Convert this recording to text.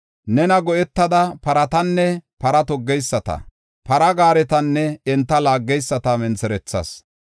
Nena go7etada paratanne para toggeyisata; para gaaretanne enta laaggeyisata mentherethas.